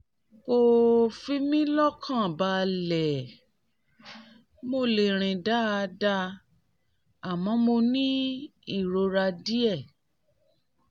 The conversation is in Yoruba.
ko fun mi lokan baale mole rin dada amo mo ni irora die